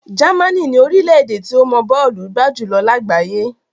Germany ni orílẹ̀ tí ó mọ bọ́ọ̀lù gbá jù lọ lágbàáyé.